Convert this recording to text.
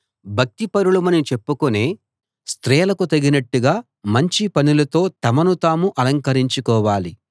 భక్తిపరులమని చెప్పుకొనే స్త్రీలకు తగినట్టుగా మంచి పనులతో తమను తాము అలంకరించుకోవాలి